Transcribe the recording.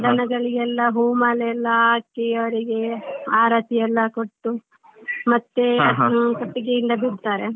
ದನಗಳಿಗೆಲ್ಲ ಹೂ ಮಾಲೆಯೆಲ್ಲ ಹಾಕಿ ಅವ್ರಿಗೆ ಆರತಿಯೆಲ್ಲ ಕೊಟ್ಟು ಮತ್ತೆ ಕೊಟ್ಟಿಗೆಯಿಂದ ಬಿಡ್ತಾರೆ.